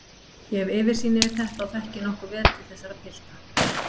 Ég hef yfirsýn yfir þetta og þekki nokkuð vel til þessara pilta.